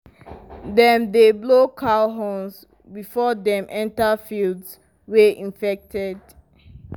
dem dey blow cow horns before dem enter fields wey infected.